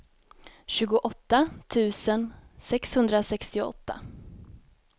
tjugoåtta tusen sexhundrasextioåtta